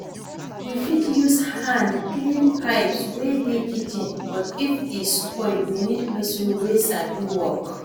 We fit use hand clean pipes wey dey kitchen but if e spoil we need person wey sabi work